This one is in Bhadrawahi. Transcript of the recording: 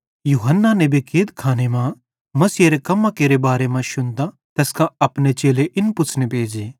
यूहन्ना नेबे कैदखाने मां मसीहेरे कम्मां केरे बारे मां शुन्तां तैस कां अपने चेले इन पुच्छ़ने भेज़े